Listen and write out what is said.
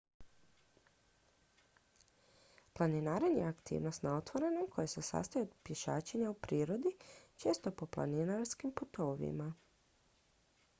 planinarenje je aktivnost na otvorenom koja se sastoji od pješačenja u prirodi često po planinarskim putovima